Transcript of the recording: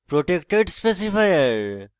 protected specifier